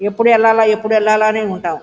ఎప్పుడు ఎల్లాల ఎప్పుడు ఎల్లాల అనే ఉంటాం.